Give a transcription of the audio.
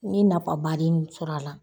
Ni nafabaden min sɔrɔ a la.